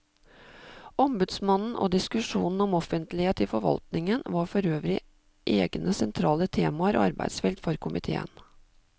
Ombudsmannen og diskusjonen om offentlighet i forvaltningen var forøvrig egne sentrale temaer og arbeidsfelt for komiteen.